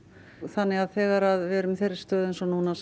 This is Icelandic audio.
þannig að þegar við erum í þeirri stöðu eins og núna